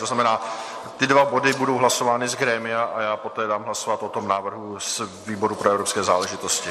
To znamená, ty dva body budou hlasovány z grémia a já poté dám hlasovat o tom návrhu z výboru pro evropské záležitosti.